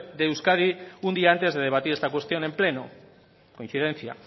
de euskadi un día antes de debatir esta cuestión en pleno coincidencia